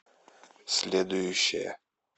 следующая